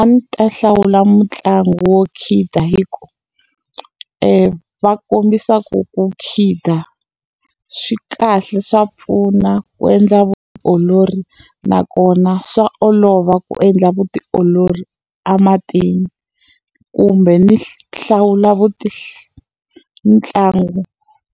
A ndzi ta hlawula mutlangi wo khida hikuva va kombisa ku ku khida swi kahle swa pfuna ku endla vutiolori, nakona swa olova ku endla vutiolori ematini. Kumbe ni hlawula ntlangu